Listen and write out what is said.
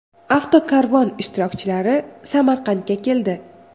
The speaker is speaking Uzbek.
Avtokarvon ishtirokchilari Samarqandga keldi.